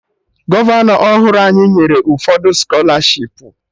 Gọvanọ ọhụrụ anyị nyere ụfọdụ skọlarshipu